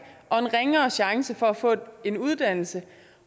og en ringere chance for at få en uddannelse